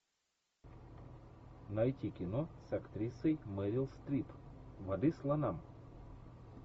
найти кино с актрисой мерил стрип воды слонам